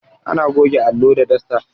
Ana goge allo da dasta